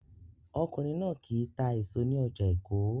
Ọkùnrin náà kì í ta èso ní ọjà Èkó